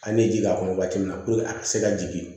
An bɛ ji k'a kɔnɔ waati min na a ka se ka jigin